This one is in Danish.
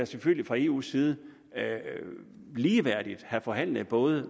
selvfølgelig fra eus side ligeværdigt skulle have forhandlet både